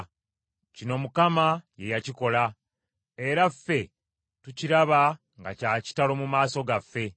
Kino Mukama ye yakikola; era ffe tukiraba nga kya kitalo mu maaso gaffe.